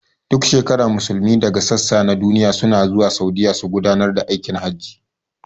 Duk shekara Musulmai daga sassa na duniya suna zuwa Saudiya su gudanar da aikin hajji